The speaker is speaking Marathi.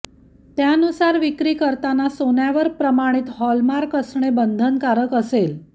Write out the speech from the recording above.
त्यानूसार विक्री करताना सोन्यावर प्रमाणित हॉलमार्क असणे बंधनकारक असेल